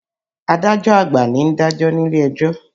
Adájọ́ àgbà ni ń dàjọ́ nílé ẹjọ́